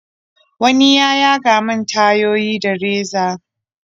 wani ya yaga min tayoyi da reza.